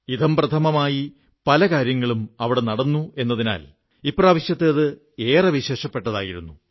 ഇഥംപ്രഥമമായി പലകാര്യങ്ങളും അവിടെ നടന്നു എന്നതിനാൽ ഇപ്രാവശ്യത്തേത് ഏറെ വിശേഷപ്പെട്ടതുമായിരുന്നു